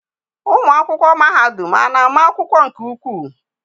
Ụmụ akwụkwọ mahadum ana ama akwụkwọ nke ukwuu?